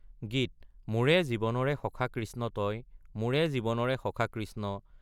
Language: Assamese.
গীত মোৰে জীৱনৰে সখা কৃষ্ণ তই মোৰে জীৱনৰে সখা কৃষ্ণ।